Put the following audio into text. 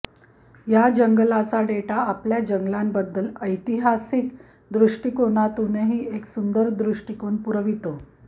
या जंगलाचा डेटा आपल्या जंगलाबद्दल ऐतिहासिक दृष्टीकोणातूनही एक सुंदर दृष्टिकोन पुरवितो